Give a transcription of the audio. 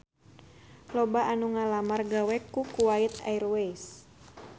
Loba anu ngalamar gawe ka Kuwait Airways